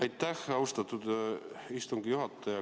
Aitäh, austatud istungi juhataja!